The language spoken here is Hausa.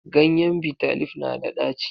Ganyen Bitter leaf na da ɗaci.